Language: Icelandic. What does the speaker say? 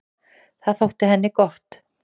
Það þótti henni gott.